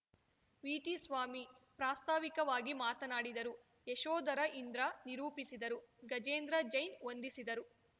VT Swamy ಪ್ರಾಸ್ತಾವಿಕವಾಗಿ ಮಾತನಾಡಿದರು ಯಶೋಧರ ಇಂದ್ರ ನಿರೂಪಿಸಿದರು ಗಜೇಂದ್ರ ಜೈನ್‌ ವಂದಿಸಿದರು